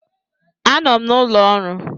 Anọ m n'ụlọ ọrụ.